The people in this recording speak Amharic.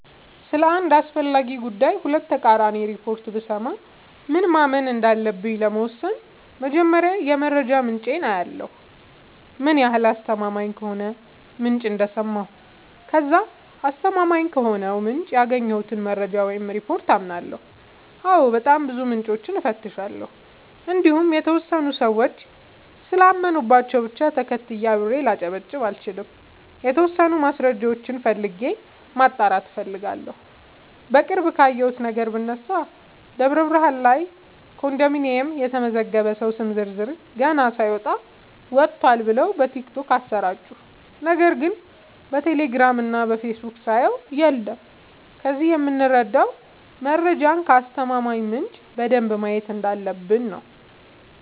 ስለ አንድ አስፈላጊ ጉዳይ ሁለት ተቃራኒ ሪፖርት ብሰማ ምን ማመን እንዳለብኝ ለመወሠን መጀመሪያ የመረጃ ምንጬን አያለሁ ምን ያህል አስተማማኝ ከሆነ ምንጭ እንደሰማሁ ከዛ አስተማማኝ ከሆነው ምንጭ ያገኘሁትን መረጃ ወይም ሪፓርት አምናለሁ አዎ በጣም ብዙ ምንጮችን እፈትሻለሁ እንዲሁም የተወሰኑ ሰዎች ስላመኑባቸው ብቻ ተከትዬ አብሬ ላጨበጭብ አልችልም የተወሰኑ ማስረጃዎችን ፈልጌ ማጣራት እፈልጋለሁ። በቅርብ ካየሁት ነገር ብነሳ ደብረብርሃን ላይ ኮንዶሚኒየም የተመዘገበ ሰው ስም ዝርዝር ገና ሳይወጣ ወጥቷል ብለው በቲክቶክ አሰራጩ ነገር ግን በቴሌግራም እና በፌስቡክ ሳየው የለም ከዚህ የምረዳው መረጃን ከአስተማማኝ ምንጭ በደንብ ማየት እንዳለበ፣ ብኝ ነው።